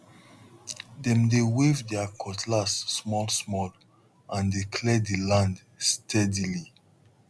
dem they wave their cutlass smallsmall and dey clear the land steadily